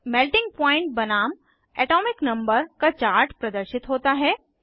melting point बनाम atomic number का chart प्रदर्शित होता है